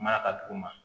Mara ka duguma